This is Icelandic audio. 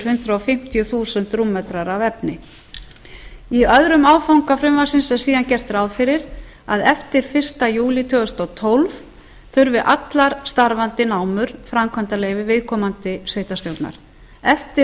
hundrað fimmtíu þúsund rúmmetrar af efni í öðrum áfanga frumvarpsins er síðan gert ráð fyrir að eftir fyrsta júlí tvö þúsund og tólf þurfi allar starfandi námur framkvæmdaleyfi viðkomandi sveitarstjórnar eftir